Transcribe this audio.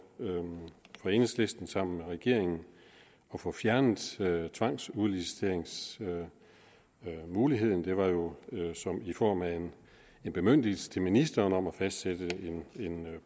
enhedslisten sammen med regeringen at få fjernet tvangsudliciteringsmuligheden det var jo i form af en bemyndigelse til ministeren om at fastsætte en